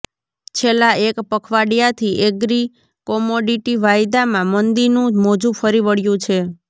છેલ્લા એક પખવાડિયાથી એગ્રિ કોમોડિટી વાયદામાં મંદીનું મોજું ફરી વળ્યું છે